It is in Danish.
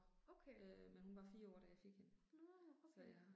Okay. Nåh, okay